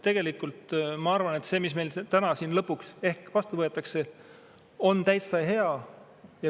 Ma arvan, et see, mis meil täna lõpuks ehk vastu võetakse, on täitsa hea.